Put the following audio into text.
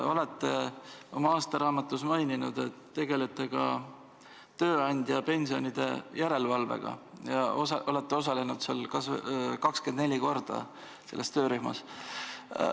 Olete oma aastaraamatus maininud, et tegelete ka tööandjapensionide järelevalvega ja olete osalenud 24 korda selles töörühmas.